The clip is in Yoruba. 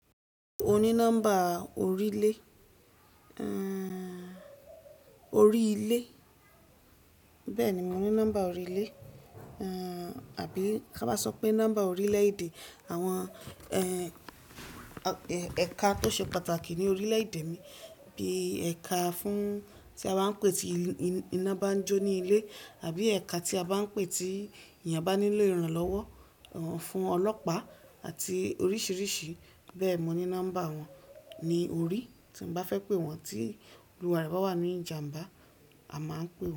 Mo ní nọ́mbà orílẹ̀, ehn, orí ilé. Bẹ́ẹ̀ni, mo ní nọ́mbà oríle, ehn, àbí ká bá sọ pé nọ́mbà orílẹ̀-èdè, àwọn, ẹ̀ka tó ṣe pàtàkì ní orílẹ̀-èdè mi, bí i ẹ̀ka fún tí a bá ń pè tí iná bá ń jó ní ilé àbí ẹ̀ka tí a bá ń pè tí èèyàn bá nílò ìrànlọ́wọ́, fún ọlọ́pàá àti oríṣìíríṣìí. Bẹ́ẹ̀ni, mo ní nọ́mbà wọn ní orí, tí mo bá fẹ́ pé wọ́n tí olùwàrà bá wà ní ìjàmbá, a máa ń pe wọ́n.